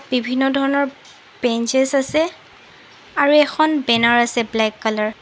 বিভিন্ন ধৰণৰ বেঞ্চেছ আছে আৰু এখন বেনাৰ আছে ব্লেক কালাৰ ।